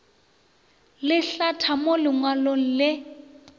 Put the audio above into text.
le hlatha mo lengwalong le